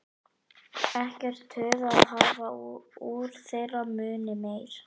Ekkert tuð að hafa úr þeirra munni meir.